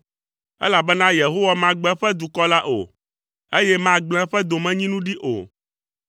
Elabena Yehowa magbe eƒe dukɔ la o, eye magblẽ eƒe domenyinu ɖi o.